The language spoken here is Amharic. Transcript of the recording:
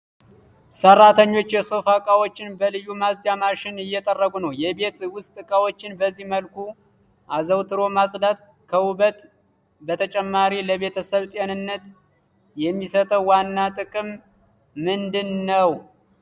ሰራተኞች የሶፋ ዕቃዎችን በልዩ ማጽጃ ማሽን እየጠረጉ ነው። የቤት ውስጥ ዕቃዎችን በዚህ መልኩ አዘውትሮ ማጽዳት ከውበት በተጨማሪ ለቤተሰብ ጤንነት የሚሰጠው ዋና ጥቅም ምንድን ነው?